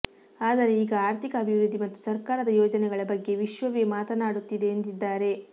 ಆದರೆ ಈಗ ಆರ್ಥಿಕ ಅಭಿವೃದ್ಧಿ ಮತ್ತು ಸರ್ಕಾರದ ಯೋಜನೆಗಳ ಬಗ್ಗೆ ವಿಶ್ವವೇ ಮಾತನಾಡುತ್ತಿದೆ ಎಂದಿದ್ದಾರೆ